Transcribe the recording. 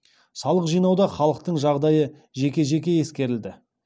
салық жинауда халықтың жағдайы жеке жеке ескерілді